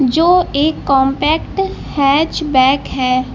जो एक compact hatchback है।